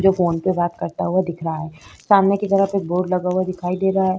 जो फ़ोन पे बात करता हुआ दिख रहा है सामने की तरफ एक बोर्ड लगा हुआ दिखाई दे रहा है।